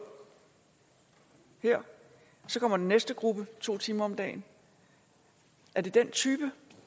her så kommer den næste gruppe i to timer om dagen er det den type